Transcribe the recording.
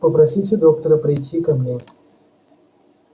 попросите доктора прийти ко мне